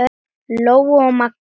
Lóa og Magnús.